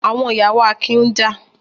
Àwọn ìyàwó Akin ń jà.